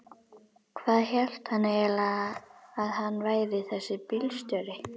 Hvað hélt hann eiginlega að hann væri þessi bílstjóri.